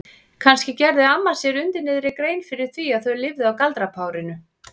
Kannski gerði amma sér undir niðri grein fyrir því að þau lifðu á galdrapárinu?